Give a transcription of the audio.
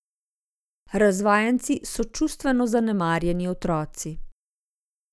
Razvajenci so čustveno zanemarjeni otroci!